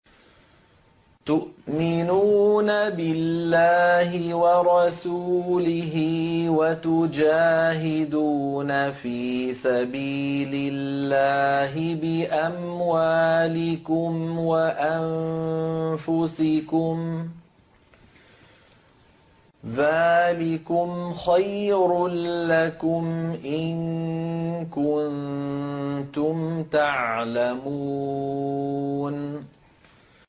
تُؤْمِنُونَ بِاللَّهِ وَرَسُولِهِ وَتُجَاهِدُونَ فِي سَبِيلِ اللَّهِ بِأَمْوَالِكُمْ وَأَنفُسِكُمْ ۚ ذَٰلِكُمْ خَيْرٌ لَّكُمْ إِن كُنتُمْ تَعْلَمُونَ